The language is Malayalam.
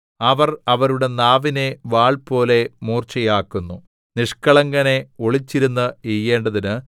അവർ അവരുടെ നാവിനെ വാൾപോലെ മൂർച്ചയാക്കുന്നു നിഷ്കളങ്കനെ ഒളിച്ചിരുന്ന് എയ്യേണ്ടതിന്